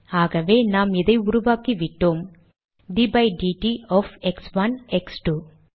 ஆகவே நாம் இதை உருவாக்கிவிட்டோம் d by dt of x one x two